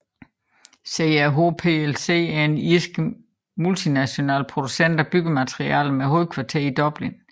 CRH plc er en irsk multinational producent af byggematerialer med hovedkvarter i Dublin